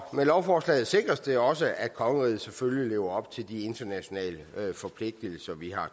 med lovforslaget sikres det også at kongeriget selvfølgelig lever op til de internationale forpligtigelser vi har